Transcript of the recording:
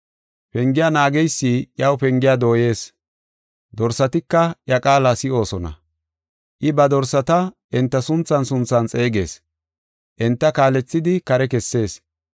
Pengiya naageysi iyaw pengiya dooyees; dorsatika iya qaala si7oosona. I ba dorsata enta sunthan sunthan xeegees; enta kaalethidi kare kessees.